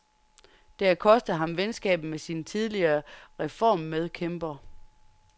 Det har kostet ham venskabet med sin tidligere reformmedkæmper.